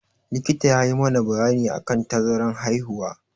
Likita ya yi mana bayani akan tazaran haihuwa.